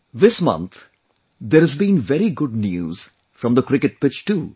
This month, there has been very good news from the cricket pitch too